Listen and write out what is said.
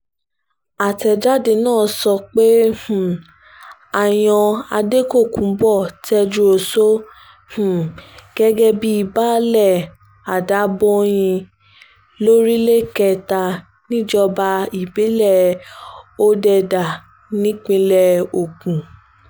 àtẹ̀jáde náà sọ pé um a yan adékòkùnbó tejúosọ um gẹ́gẹ́ bíi baálé adábọ̀nyín lórílẹ̀ kẹ́tà níjọba ìbílẹ̀ òdẹ̀dá nípìnlẹ̀ ogun